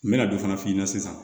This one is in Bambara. N bɛna dɔ fana f'i ɲɛna sisan